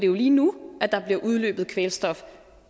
jo lige nu at der bliver udledt kvælstof